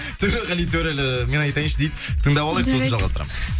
төреғали төрәлі мен айтайыншы дейді тыңдап алайық жарайды сосын жалғастырамыз